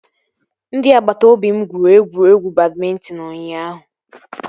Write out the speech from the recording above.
Ndị agbata obi m gwuru egwuregwu badmịntịn ụnyaahụ